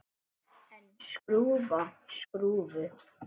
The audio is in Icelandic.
En skrúfa skrúfu?